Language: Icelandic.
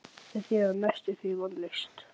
Þó hafa komið í hana tilboð í Þýskalandi.